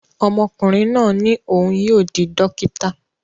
Ọmọkùnrin náà ní òun yóò di dókítà